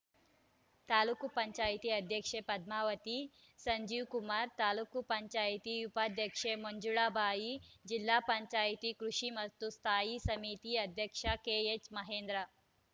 ತಾಲೂಕ್ ಪಂಚಾಯಿತಿ ಅಧ್ಯಕ್ಷೆ ಪದ್ಮಾವತಿ ಸಂಜೀವ್‌ಕುಮಾರ್‌ ತಾಲೂಕ್ ಪಂಚಾಯಿತಿ ಉಪಾಧ್ಯಕ್ಷೆ ಮಂಜುಳಾಬಾಯಿ ಜಿಲ್ಲಾ ಪಂಚಾಯಿತಿ ಕೃಷಿ ಮತ್ತು ಸ್ಥಾಯಿ ಸಮಿತಿ ಅಧ್ಯಕ್ಷ ಕೆಎಚ್‌ ಮಹೇಂದ್ರ